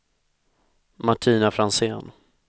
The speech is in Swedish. Martina Franzén